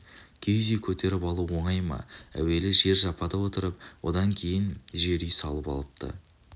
киіз үй көтеріп алу оңай ма әуелі жер жапада отырып одан кейін жер үй салып алыпты